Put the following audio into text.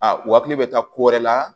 A u hakili bɛ taa ko wɛrɛ la